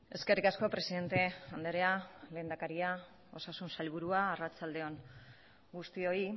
eskerrik asko presidente andrea lehendakaria osasun sailburua arratsalde on guztioi